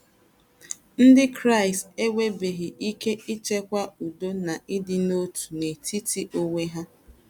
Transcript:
Ndị Kraịst enwebeghị ike ichekwa udo na ịdị n’otu n’etiti onwe ha....